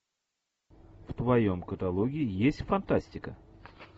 в твоем каталоге есть фантастика